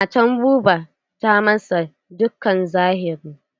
Matar Buba ta masa dukkan zahiri.